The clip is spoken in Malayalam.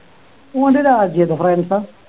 ഓൻ്റെ രാജ്യം ഏതാ ഫ്രാൻസാ